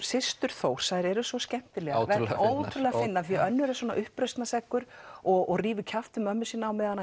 systur Þórs eru svo skemmtilegar ótrúleg fyndnar því önnur er uppreisnarseggur og rífur kjaft við mömmu sína meðan